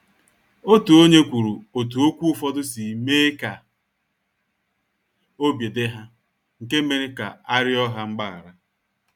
Otu onye kwuru otú okwu ụfọdụ si mee ka obi dị ha, nke mere ka a riọ ha mgbaghara.